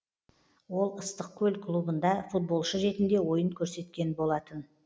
ол ыстықкөл клубында футболшы ретінде ойын көрсеткен болатын